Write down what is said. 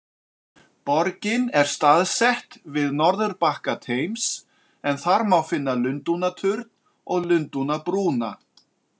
Borgin er staðsett við norðurbakka Thames en þar má finna Lundúnaturn og Lundúnabrúna.